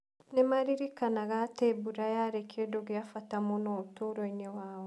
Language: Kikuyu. Nĩ maaririkanaga atĩ mbura yarĩ kĩndũ kĩa bata mũno ũtũũro-inĩ wao.